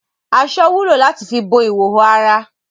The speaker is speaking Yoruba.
Aṣọ wúlò láti fi bo ihòhò ara.